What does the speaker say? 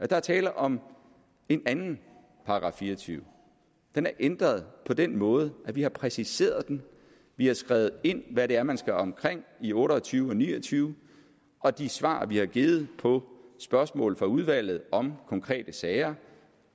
der er tale om en anden § fireogtyvende den er ændret på den måde at vi har præciseret den vi har skrevet ind hvad det er man skal omkring i otte og tyve og ni og tyve og de svar vi har givet på spørgsmål fra udvalget om konkrete sager